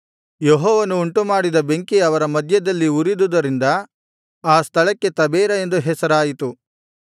ಯೆಹೋವನು ಉಂಟುಮಾಡಿದ ಬೆಂಕಿ ಅವರ ಮಧ್ಯದಲ್ಲಿ ಉರಿದುದರಿಂದ ಆ ಸ್ಥಳಕ್ಕೆ ತಬೇರ ಎಂದು ಹೆಸರಾಯಿತು